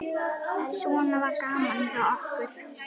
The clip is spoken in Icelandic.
Svona var gaman hjá okkur.